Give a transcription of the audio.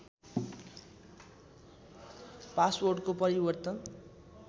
पासवर्डको परिवर्तन